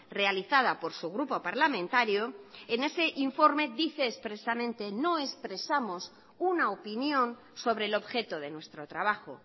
realizada por su grupo parlamentario en ese informe dice expresamente no expresamos una opinión sobre el objeto de nuestro trabajo